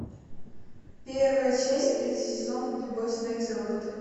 первая часть третий сезон любовь смерть и роботы